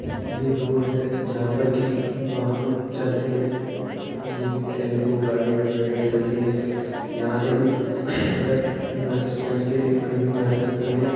ये रोड है जहां पर कि वाहन चलते है जैसे कि टैम्पू गाड़ी-वाड़ी वगैरह चलते हैं। यहां से हम अगर बस स्टैन्ड से कही भी जा सकते हैं।